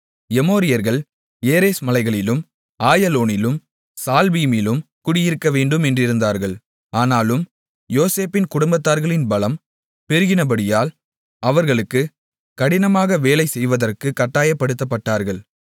எமோரியர்கள் ஏரேஸ் மலைகளிலும் ஆயலோனிலும் சால்பீமிலும் குடியிருக்கவேண்டும் என்றிருந்தார்கள் ஆனாலும் யோசேப்பின் குடும்பத்தார்களின் பலம் பெருகினபடியால் அவர்களுக்கு கடினமாக வேலை செய்வதற்குக் கட்டாயப்படுத்தப்பட்டார்கள்